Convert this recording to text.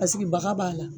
Paseke baga b'a la